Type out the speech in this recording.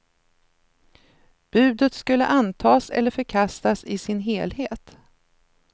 Budet skulle antas eller förkastas i sin helhet.